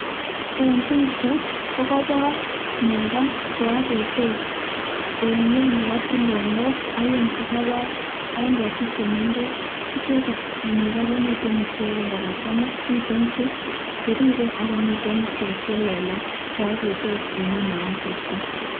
En pichaitab ko koibor nego che ogetos en ng'weny nebo tulonok oeng, che kobor en ketik che mengech. Icheket nego, komiten ichegen kogachang'a miten che biriren ago miten icheck che lelach che ogetos en ng'weny nebo asista.